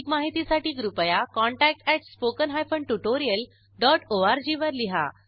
अधिक माहितीसाठी कृपया contact at spoken hyphen tutorial dot ORG वर लिहा